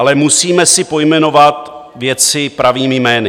Ale musíme si pojmenovat věci pravými jmény.